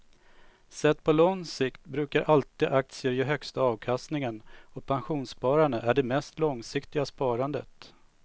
Sett på lång sikt brukar alltid aktier ge högsta avkastningen och pensionssparande är det mest långsiktiga sparandet.